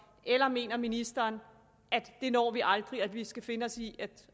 eller mener ministeren at det når vi aldrig og at vi skal finde os i